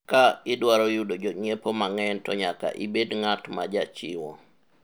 ka idwaro yudo jonyiepo mang'eny to nyaka ibed ng'at majachiwo